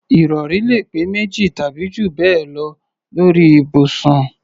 Ìrọ̀rí lè pé méjì tàbí jù bẹ́ẹ̀ lọ lórí ibùsùn